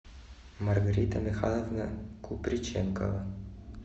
маргарита михайловна куприченкова